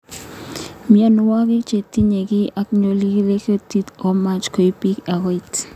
Mionwek che tinye kei ak ngulyelik ing kutit ko much koim pik ako et.